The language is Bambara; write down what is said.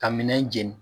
Ka minɛn jeni